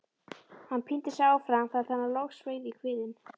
Hann píndi sig áfram þar til hann logsveið í kviðinn.